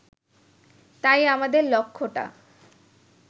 তাই আমাদের লক্ষ্যটা